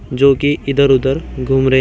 जो कि इधर उधर घूम रहे--